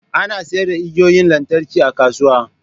Ana sayar da igiyoyin lantarki a kasuwa